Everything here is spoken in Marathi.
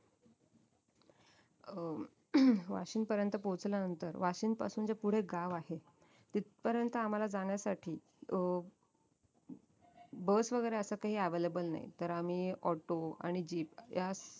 अं वाशिंद पर्यंत पोहचल्यानंतर वाशिंद पासून जे पुढे गाव आहे तिथपर्यंत आम्हाला जाण्यासाठी अं bus वैगेरे काही available नाही तर आम्ही auto आणि jeep ह्या